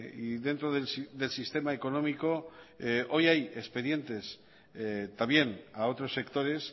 y dentro del sistema económicoh hoy hay expedientes también a otros sectores